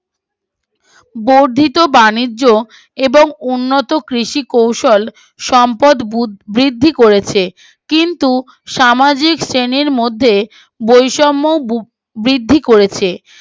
বর্ধিত বাণিজ্য ও উন্নত কৃষি কৌশল সম্পদ বুর বৃদ্ধি করেছে কিন্তু সামাজিক শ্রেণীর মধ্যে বৈষম্য বোর বৃদ্ধি করেছে